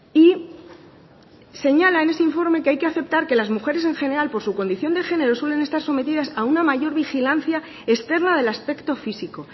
y señala en ese informe que hay que aceptar que las mujeres en general por su condición de género suelen estar sometidas a una mayor vigilancia externa del aspecto físico